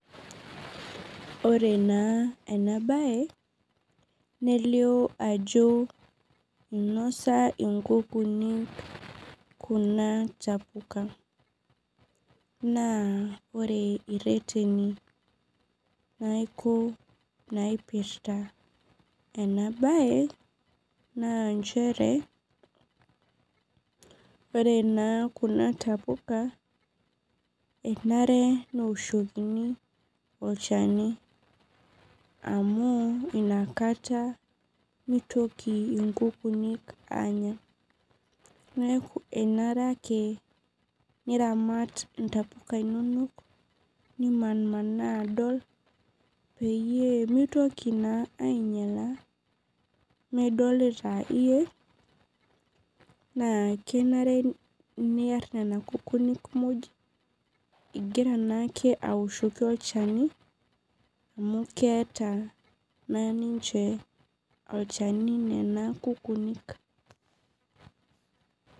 Ore na enabae nelio ajo inosa inkukuni kuna tapuka na ore irereni neaku naipirta enabae na nchere ore na kuna tapuka enarebneoshokini olchani amu inataka mitoki nkukuni anya neaku enarebake niramat ntapuka inonok nimanimanaa adol peyie mitoki naa ainyala midolta iyie na kenare niar nona kukuni imvira ake aoshoki olchani amu keeta olchani nona kukunik